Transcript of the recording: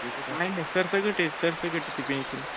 नाही नाही सरसकट ये सरसकटय ती PENSION